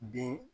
Bin